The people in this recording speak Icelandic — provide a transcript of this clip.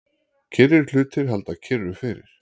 Kyrrir hlutir halda kyrru fyrir.